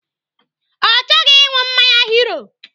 Ọ chọghị ịṅụ mmanya Hero.